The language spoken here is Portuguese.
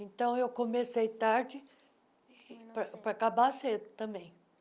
Então, eu comecei tarde para para acabar cedo também.